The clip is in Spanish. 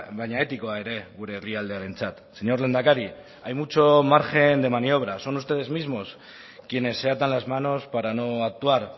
baina etikoa ere gure herrialdearentzat señor lehendakari hay mucho margen de maniobra son ustedes mismos quienes se atan las manos para no actuar